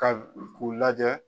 Ka k'u lajɛ.